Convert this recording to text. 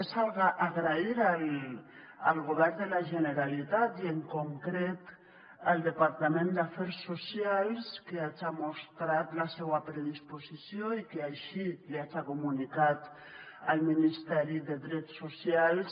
és agrair al govern de la generalitat i en concret al departament d’afers socials que haja mostrat la seua predisposició i que així li haja comunicat al ministeri de drets socials